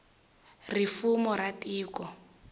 ri fumo ra tiko